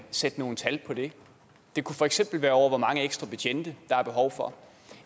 sætte nogle tal på det det kunne for eksempel være for hvor mange ekstra betjente der er behov for